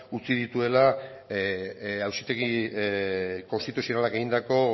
utzi dituela auzitegi konstituzionalak egindako